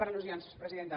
per al·lusions presidenta